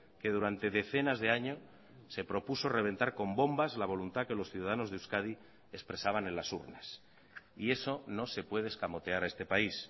que durante decenas de años se propuso reventar con bombas la voluntad que los ciudadanos de euskadi expresaban en las urnas y eso no se puede escamotear a este país